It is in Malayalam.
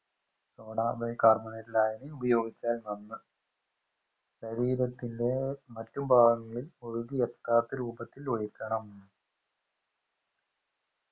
soda bicarbonate ലായനി ഉപയോഗിച്ചാൽ നന്ന് ശരീരത്തിന്റെ മറ്റുഭാഗങ്ങളിൽ ഒഴുകിയെത്താത്ത രൂപത്തിൽ ഒഴിക്കണം